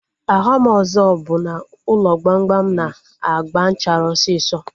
Ọghọm ọzọ bụ na ụlọ gbamgbam na-agba nchara osisọ